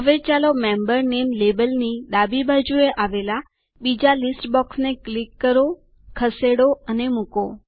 હવે ચાલો મેમ્બર નામે લેબલની ડાબી બાજુએ આવેલાં બીજી યાદીના બોક્સને ક્લિક કરોખસેડો અને મુકો